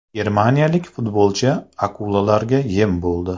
Germaniyalik futbolchi akulalarga yem bo‘ldi.